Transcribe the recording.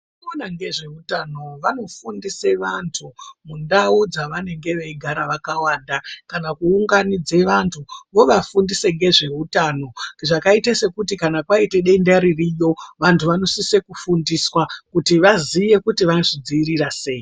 Vanoona nezveutano vanofundise vantu mundao dzavanenge veigara vakawanda kana kuunganidze vantu vovafundisa nezveutano zvakaita sekuti kana kwaite denda ririyo vantu vanosise kufundiswa kuti vazive kuti vanozvidzivirira sei.